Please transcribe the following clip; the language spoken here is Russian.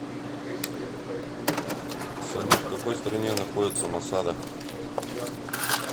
салют в какой стране находится масада